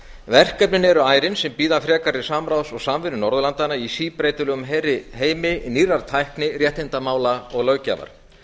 verkefnin eru ærin sem bíða frekari samráðs og samvinnu norðurlandanna í síbreytilegum heimi nýrrar tækni réttindamála og löggjafar